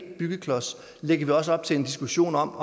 byggeklods lægger vi også op til en diskussion om